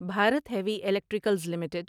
Bharat heavy electricals limited